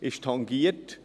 Es ist tangiert.